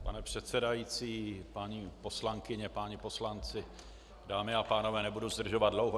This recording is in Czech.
Pane předsedající, paní poslankyně, páni, poslanci, dámy a pánové, nebudu zdržovat dlouho.